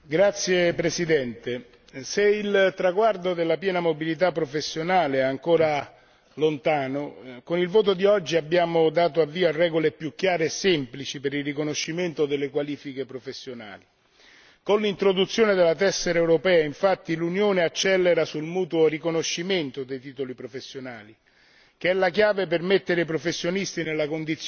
Signor Presidente, onorevoli colleghi, se il traguardo della piena mobilità professionale è ancora lontano, con il voto di oggi abbiamo dato avvio a regole più chiare e semplici per il riconoscimento delle qualifiche professionali. Con l'introduzione della tessera europea infatti l'Unione accelera sul mutuo riconoscimento dei titoli professionali,